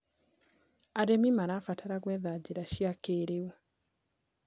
Arĩmĩ marabatara gwetha njĩra cĩa kĩĩrĩũ